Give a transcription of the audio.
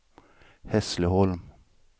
Hässleholm